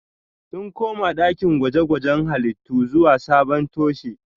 Sun koma dakin gwaje-gwajen halittu zuwa sabon toshe